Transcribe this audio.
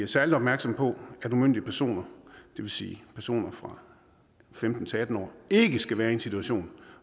særlig opmærksomme på at umyndige personer det vil sige personer fra femten til atten år ikke skal være i en situation